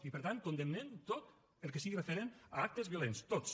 i per tant condemnen tot el que sigui referent a actes violents tots